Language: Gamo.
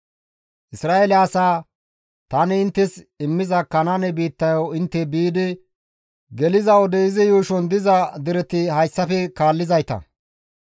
«Isra7eele asaa, ‹Tani inttes immiza Kanaane biittayo intte biidi geliza wode izi yuushon diza dereti hayssafe kaallizayta;